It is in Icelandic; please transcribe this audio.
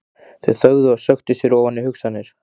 Þau þögðu og sökktu sér ofan í hugsanir.